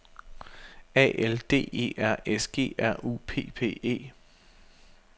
A L D E R S G R U P P E